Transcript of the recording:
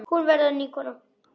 Hún verður ný kona.